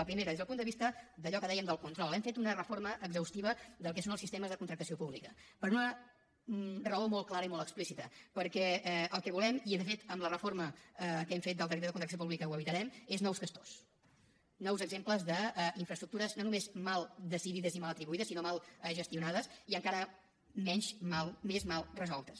la primera des del punt de vista d’allò que dèiem del control hem fet una reforma exhaustiva del que són els sistemes de contractació pública per una raó molt clara i molt explícita perquè el que volem evitar i de fet amb la reforma que hem fet del decret de contractació pública ho evitarem són nous castors nous exemples d’infraestructures no només mal decidides i mal atribuïdes sinó mal gestionades i encara més mal resoltes